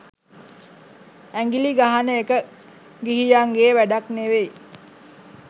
ඇඟිලි ගහන එක ගිහියන්ගේ වැඩක් නෙවෙයි.